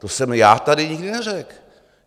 To jsem já tady nikdy neřekl.